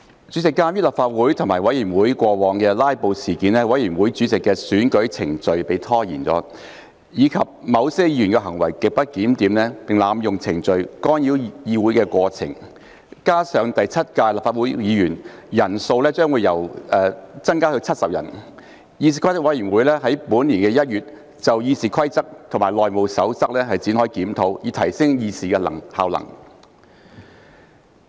主席，鑒於立法會及委員會過往發生"拉布"事件，以致委員會主席的選舉程序被拖延；而且某些議員行為極不檢點，並濫用程序干擾會議過程，以及第七屆立法會議員人數將會增加至90人，議事規則委員會於本年1月就《議事規則》及《內務守則》展開檢討，以提升議事效能。